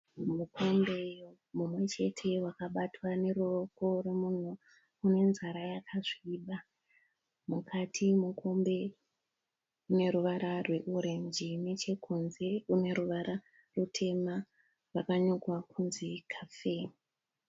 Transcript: Mukombe mumwe chete wakabatwa neruoko rwemunhu une nzara yakasviba. Mukati memukombe mune ruvara rweorenji nechekunze une ruvara rutema rwakanyorwa kunzi 'Cafe'.